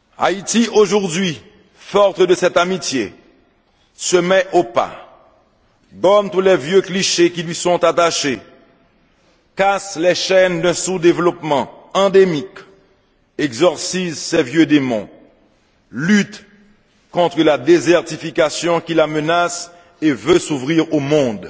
Haïti, aujourd'hui, forte de cette amitié, se met au pas, gomme tous les vieux clichés qui lui sont attachés, casse les chaînes d'un sous développement endémique, exorcise ses vieux démons, lutte contre la désertification qui la menace et veut s'ouvrir au monde.